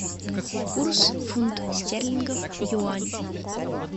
курс фунт стерлингов юань